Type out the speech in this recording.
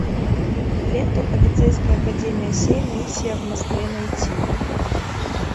лента полицейская академия семь миссия в москве найти